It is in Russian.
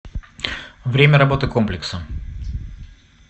время работы комплекса